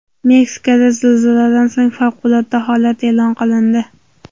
Meksikada zilziladan so‘ng favqulodda holat e’lon qilindi.